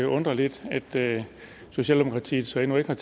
undre lidt at socialdemokratiet så endnu ikke har